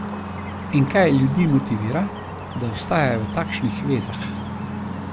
In kaj ljudi motivira, da ostajajo v takšnih vezah?